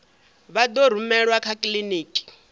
vha ḓo rumelwa kha kiḽiniki